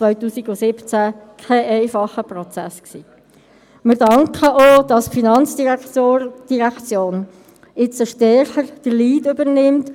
Als Folge dieser erkannten Probleme, haben wir hier vor einem Jahr mit grosser Mehrheit eine Planungserklärung verabschiedet.